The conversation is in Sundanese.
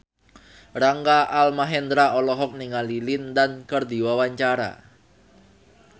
Rangga Almahendra olohok ningali Lin Dan keur diwawancara